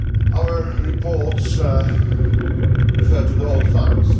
Our reports refer to the old times.